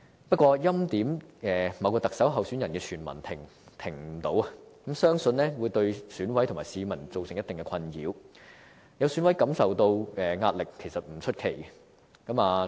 不過，欽點某位特首候選人的傳聞停不了，相信會對選委和市民造成一定的困擾，有選委感受到壓力也不出奇。